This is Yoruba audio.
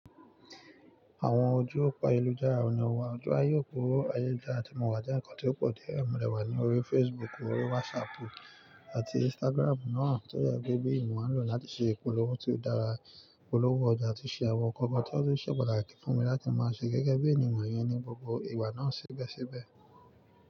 Àwọn ojú òpa ìlú dára ní ọwọ́, ojú ayókúrò ayélujára àti ìmuwàdí jẹ́ ǹkan tó pọ̀ díẹ̀ mìíràn wà ní orí Facebook, orí WhatsApp àti Instagram náà tó yẹ pé bí ìran lò láti ṣe ìpolówó tí ó dára. Ìpolówó ọjà tí ṣe àwọn ǹkan kan tó ti ṣe pàtàkì fún mi láti máa ṣe gẹ́gẹ́ bí ènìyàn yẹn ní gbogbo ìgbà náà sibesibe.